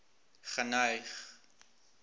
geneig